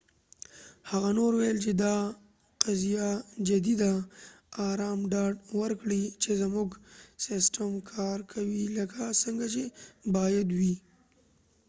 هغه نور وویل چې، دا قضیه جدي ده۔ ارام ډاډ ورکړئ چې زموږ سیسټم کار کوي لکه څنګه چې باید وي۔